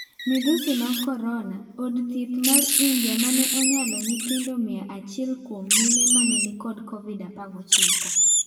Midhusi mag Corona:Od thieth mar India mane onyalo nyithindo mia achiel kuom mine mane nikod Covid-19